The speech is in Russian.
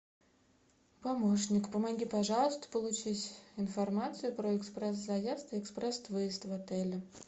помощник помоги пожалуйста получить информацию про экспресс заезд и экспресс выезд в отеле